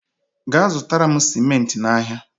gaa zụtara m simenti n'ahịa!